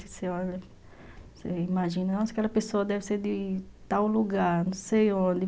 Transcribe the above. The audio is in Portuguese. Você olha, você imagina, nossa, aquela pessoa deve ser de tal lugar, não sei onde.